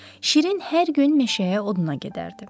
Şirin hər gün meşəyə oduna gedərdi.